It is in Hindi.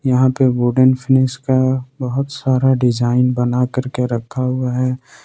यहां पे बोर्डिंग स्नीज का बहुत सारा डिजाइन बनाकर के रखा हुआ है।